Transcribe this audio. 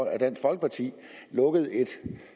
at dansk folkeparti lukkede et